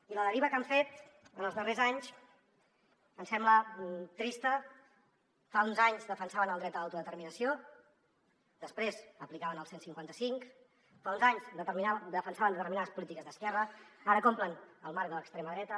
i la deriva que han fet en els darrers anys em sembla trista fa uns anys defensaven el dret a l’autodeterminació després aplicaven el cent i cinquanta cinc fa uns anys defensaven determinades polítiques d’esquerra ara compren el marc de l’extrema dreta